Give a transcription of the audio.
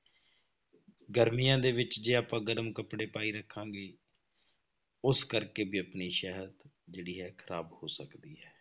ਗਰਮੀਆਂ ਦੇ ਵਿੱਚ ਜੇ ਆਪਾਂ ਗਰਮ ਕੱਪੜੇ ਪਾਈ ਰੱਖਾਂਗੇ ਉਸ ਕਰਕੇ ਵੀ ਆਪਣੀ ਸਿਹਤ ਜਿਹੜੀ ਹੈ ਖ਼ਰਾਬ ਹੋ ਸਕਦੀ ਹੈ।